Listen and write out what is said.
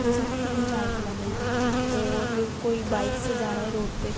जिसमें तीन-चार कलर है और कोई बाइक से जा रहा है रोड पे --